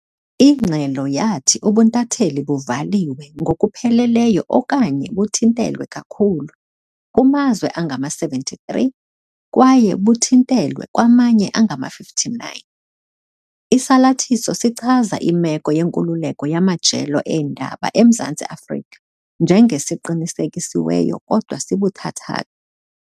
Ingxelo yathi ubuntatheli "buvaliwe ngokupheleleyo okanye buthintelwe kakhulu" kumazwe angama-73 kwaye "buthintelwe" kwamanye angama-59. Isalathiso sichaza imeko yenkululeko yamajelo eendaba eMzantsi Afrika njenge "siqinisekisiweyo kodwa sibuthathaka".